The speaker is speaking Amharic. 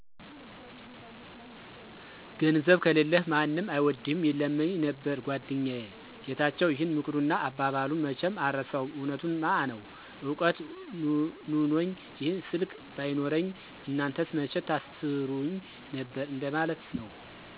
''ገንዘብ ከሌለህ ማንም አይወድህም''ይለኘመ ነበር ጎደኛየ ጌታቸው ይህን ምክሩንና አባባሉን መቸም አረሳውም እውነቱንምዐነው እውቀት ኑኖኚ ይህ ስልክ ባይኖረኚ እናንተስ መቸ ታሰሩኚ ነበር እንደ ማለት ነው።